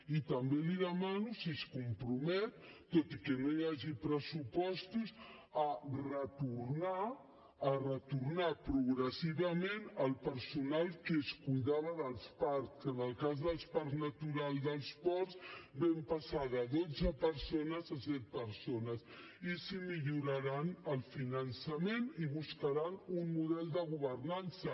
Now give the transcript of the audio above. i també li demano si es compromet tot i que no hi hagi pressupostos a retornar a retornar progressivament el personal que es cuidava dels parcs que en el cas del parc natural dels ports vam passar de dotze persones a set persones i si milloraran el finançament i buscaran un model de governança